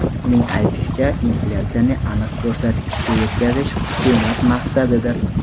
Uning aytishicha, inflyatsiyani aniq ko‘rsatkichga yetkazish hukumat maqsadidir.